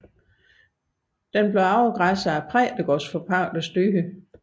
Det blev afgræsset af præstegårdsforpagterens dyr